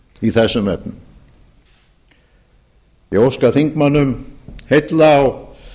í þessum efnum ég óska þingmönnum heilla á